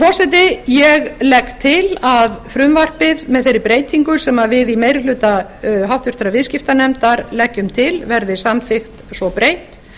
forseti ég legg til að frumvarpið með þeirri breytingu sem við í meiri hluta háttvirtur viðskiptanefndar leggjum til verði samþykkt svo breytt